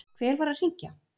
Hver var að hringja?